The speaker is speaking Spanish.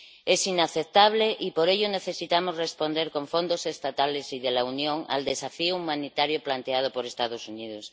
Es inaceptable y, por ello, necesitamos responder con fondos estatales y de la Unión al desafío humanitario planteado por los Estados Unidos.